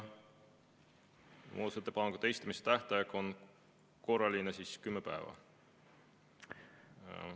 Muudatusettepanekute esitamise tähtaeg on korraline 10 päeva.